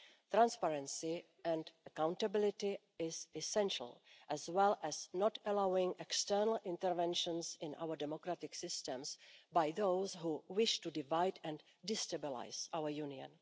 Transparency and accountability is essential, as well as not allowing external interventions in our democratic systems by those who wish to divide and destabilise our Union.